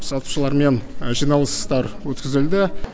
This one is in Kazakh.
сатушылармен жиналыстар өткізілді